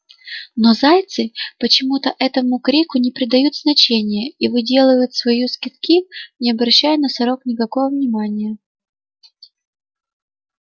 но зайцы почему-то этому крику не придают значения и выделывают свои скидки не обращая на сорок никакого внимания